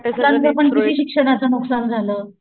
मुलांचं पण किती शिक्षणाचं नुकसान झाल.